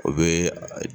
O bɛ a